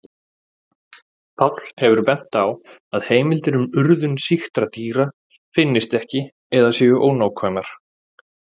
Páll hefur bent á að heimildir um urðun sýktra dýra finnist ekki eða séu ónákvæmar.